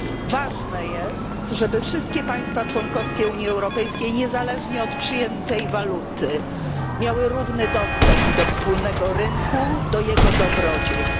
Ważne jest, żeby wszystkie państwa członkowskie Unii Europejskiej, niezależnie od przyjętej waluty, miały równy dostęp do wspólnego rynku i jego dobrodziejstw.